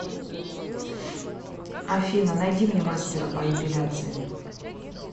афина найди мне мастера по эпиляции